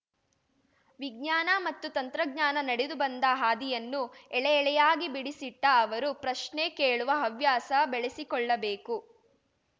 ವಿಜ್ಞಾನ ಮತ್ತು ತಂತ್ರಜ್ಞಾನ ನಡೆದು ಬಂದ ಹಾದಿಯನ್ನು ಏಳೆ ಏಳೆಯಾಗಿ ಬಿಡಿಸಿಟ್ಟ ಅವರು ಪ್ರಶ್ನೆ ಕೇಳುವ ಹವ್ಯಾಸ ಬೆಳೆಸಿಕೊಳ್ಳಬೇಕು